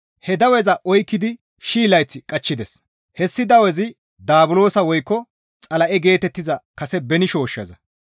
He daweza oykkidi shii layth qachchides; hessi dawezi Daabulosa woykko Xala7e geetettiza kase beni shooshshaza.